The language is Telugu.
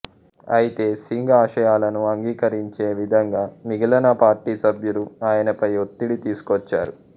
అయితే సింగ్ ఆశయాలను అంగీకరించే విధంగా మిగిలిన పార్టీ సభ్యులు ఆయనపై ఒత్తిడి తీసుకొచ్చారు